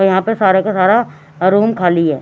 यहाँ पे सारे का सारा अ रूम खाली है।